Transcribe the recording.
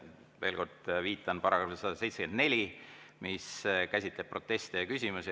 Veel kord viitan §‑le 174, mis käsitleb proteste ja küsimusi.